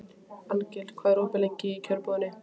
Arngils, hvað er opið lengi í Kjörbúðinni?